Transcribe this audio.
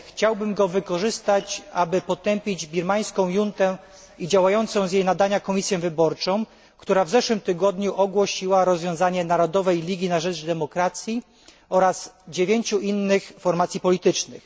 Chciałbym go wykorzystać, aby potępić birmańską juntę i działającą z jej nadania komisję wyborczą, która w zeszłym tygodniu ogłosiła rozwiązanie Narodowej Ligi na rzecz Demokracji oraz 9 innych formacji politycznych.